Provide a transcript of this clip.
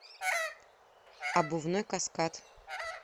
обувной каскад